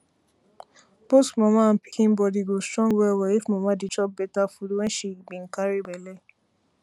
both mama and pikin body go strong well well if mama dey chop better food wen she been carry belle